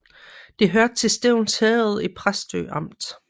Det hørte til Stevns Herred i Præstø Amt